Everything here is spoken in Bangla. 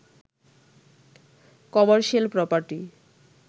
commercial property